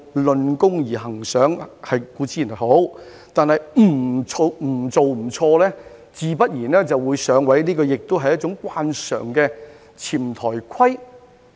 論功行賞固然好，但"不做不錯"自然會"上位"，也是一種慣常的"潛台規"。